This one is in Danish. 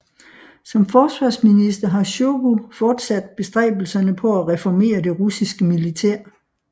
Som forsvarsminister har Sjojgu fortsat bestræbelserne på at reformere det russiske militær